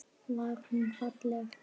Var hún falleg?